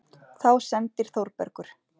Þá sendir Þórbergur